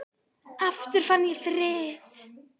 Aftur fann ég frið.